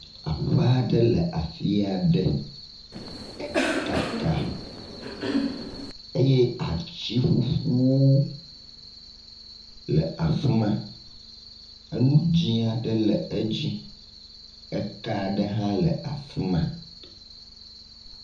Aƒe aɖe le afi aɖe, ekaka eye ati ƒuƒu le afi ma, enu dzɛ̃ aɖe le edzi, eka aɖe hã le afi ma.